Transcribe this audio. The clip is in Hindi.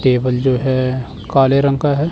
टेबल जो है काले रंग का है।